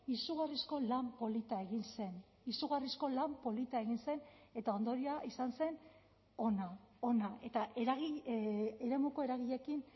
izugarrizko lan polita egin zen izugarrizko lan polita egin zen eta ondorioa izan zen ona ona eta eremuko eragileekin